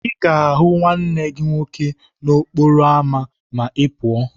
Ị ga-ahụ nwanne gị nwoke n'okporo ámá ma Ị pụọ.